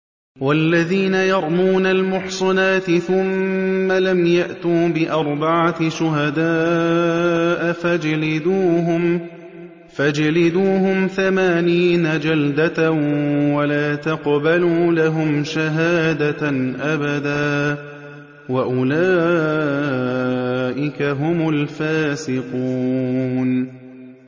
وَالَّذِينَ يَرْمُونَ الْمُحْصَنَاتِ ثُمَّ لَمْ يَأْتُوا بِأَرْبَعَةِ شُهَدَاءَ فَاجْلِدُوهُمْ ثَمَانِينَ جَلْدَةً وَلَا تَقْبَلُوا لَهُمْ شَهَادَةً أَبَدًا ۚ وَأُولَٰئِكَ هُمُ الْفَاسِقُونَ